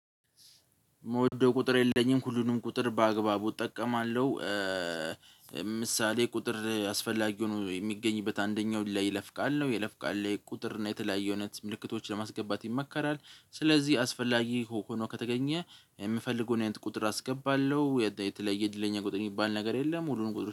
እመውደው ቁጥር የለኝም ሁሉንም ቁጥር በአግባቡ እጠቀማለሁ። ምሳሌ ቁጥር አስፈላጊ ሆኖ የሚገኝበት አንደኛው ለይለፍ ቃል ነው ይልፍ ቃል ላይ ቁጥር ነው የተለያየ እውነት ምልክቶችን ለማስገባት ይመከራል። ስለዚህ አስፈላጊ ሆኖ ከተገኘ የምፈልገውን አይነት ቁጥር አስገባለሁ የተለየ እድለኛ ቁጥር የሚባል ነገር የለም። ሁሉንም ቁጥር